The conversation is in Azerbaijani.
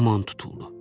Yaman tutuldu.